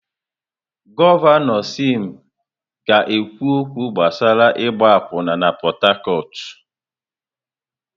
Gọvanọ Sim ga-ekwu okwu gbasara ịgba akwụna na Port Harcourt.